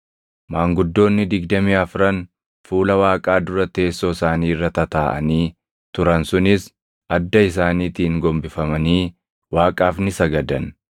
Maanguddoonni digdamii afran fuula Waaqaa dura teessoo isaanii irra tataaʼanii turan sunis adda isaaniitiin gombifamanii Waaqaaf ni sagadan;